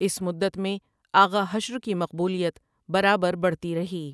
اِس مدت میں آغا حشر کی مقبولیت برابر بڑھتی رہی ۔